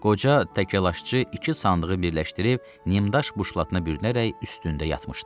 Qoca təkarlaşçı iki sandığı birləşdirib nimdaş buşlatına bürünərək üstündə yatmışdı.